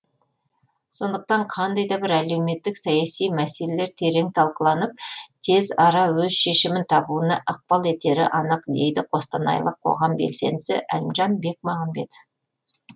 сондықтан қандай да бір әлеуметтік саяси мәселелер терең талқыланып тез ара өз шешімін табуына ықпал етері анық дейді қостанайлық қоғам белсендісі әлімжан бекмағамбетов